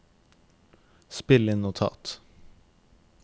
spill inn notat